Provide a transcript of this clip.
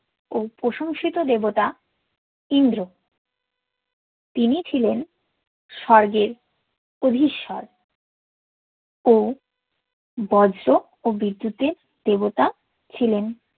ও প্রশংসিত দেবতা ইন্দ্র তিনি ছিলেন স্বর্গের অধিসর ও বজ্র ও বিদ্যুৎ এর দেবতা ছিলেন